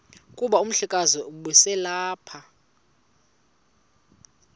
kuba umhlekazi ubeselelapha